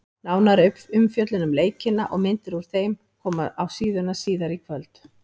Nánari umfjöllun um leikina og myndir úr þeim koma á síðuna síðar í kvöld.